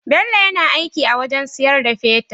Bello yAna aiki a wajan siyar da fetir